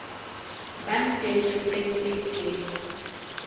bang teng sehleng se itseng